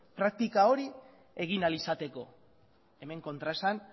praktika hori egin ahal izateko hemen kontraesan